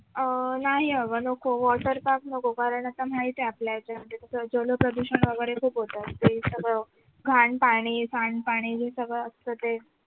अह नाही आग नको water park नको कारण आता माहितेय आपल्या तिथं जलप्रदूषण वगैरे खूप होत सगळं घाण पाणी सांडपाणी सगळं ते असत ते